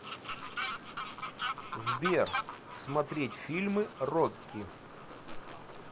сбер смотреть фильмы рокки